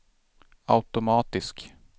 automatisk